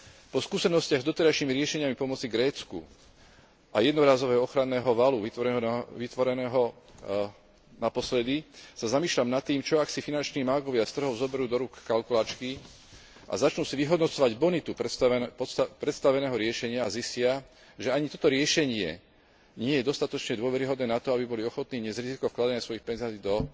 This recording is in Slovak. Po skúsenostiach s doterajšími riešeniami pomoci Grécku a jednorazového ochranného valu vytvoreného naposledy sa zamýšľam nad tým, čo ak si finanční mágovia z trhov zoberú do rúk kalkulačky a začnú si vyhodnocovať bonitu predstaveného riešenia a zistia, že ani toto riešenie nie je dostatočne dôveryhodné na to, aby boli ochotní niesť riziko vkladania svojich peňazí do